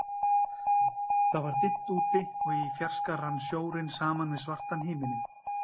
Það var dimmt úti, og í fjarska rann sjórinn saman við svartan himininn.